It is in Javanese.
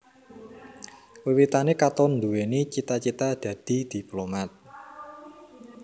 Wiwitané Katon nduwèni cita cita dadi diplomat